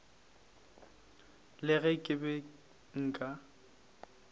le ge ke be nka